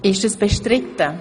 Wird das bestritten?